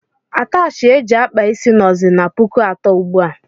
Atachi eji akpa isi nọzi n' pụkụ atọ ugbua.